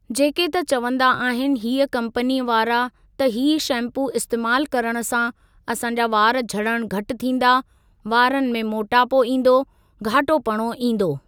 जेके त चवंदा आहिनि हीअ कंपनी वारा त हीअ शैम्पू इस्तेमालु करणु सां असां जा वार झड़णु घटि थींदा वारनि में मोटापो ईंदो घाटो पणो ईंदो।